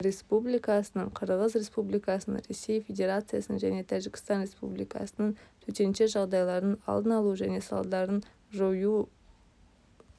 республикасының қырғыз республикасының ресей федерациясының және тәжікстан республикасының төтенше жағдайлардың алдын алу және салдарларын жою